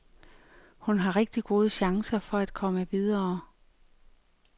Hun har rigtig gode chancer for at komme videre.